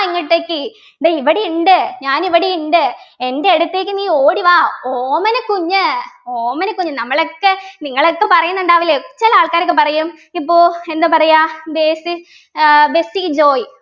ഇങ്ങോട്ടെക്ക് ദാ ഇവിടെയുണ്ട് ഞാനിവിടെയുണ്ട് എൻ്റെ അടുത്തേക്ക് നീ ഓടി വാ ഓമനക്കുഞ്ഞ് ഓമനക്കുഞ്ഞ് നമ്മളൊക്കെ നിങ്ങളൊക്കെ പറയുന്നുണ്ടാവില്ലേ ചില ആൾക്കാരൊക്കെ പറയും ഇപ്പൊ എന്താ പറയാ ബേസി ഏർ ബെസി ജോയ്